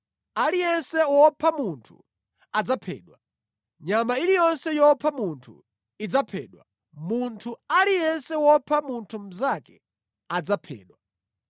Aliyense wopha munthu adzaphedwa, nyama iliyonse yopha munthu idzaphedwa, munthu aliyense wopha munthu mnzake, adzaphedwa.